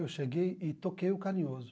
Eu cheguei e toquei o Carinhoso.